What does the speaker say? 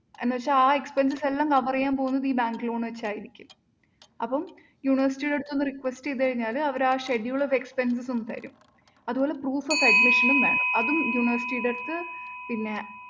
എന്നുവെച്ചാല്‍ ആ expenses എല്ലാം cover ചെയ്യാൻ പോകുന്നത് ഈ bank loan വെച്ചായിരിക്കും. അപ്പം university ടെ അടുത്ത് ഒന്ന് request ചെയ്ത് കഴിഞ്ഞാല്‍ അവര് ആ schedule of expenses ഉം തരും. അതുപോലെ proof of admission ഉം വേണം. അതും university ടെ അടുത്ത് പിന്നെ